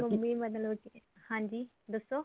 mummy ਮਤਲਬ ਹਾਂਜੀ ਦੱਸੋ